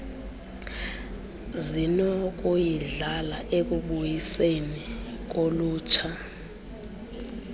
zinokuyidlala ekubuyiseni kolutsha